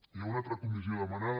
hi ha una altra comissió demanada